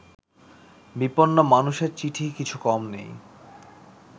বিপন্ন মানুষের চিঠি কিছু কম নেই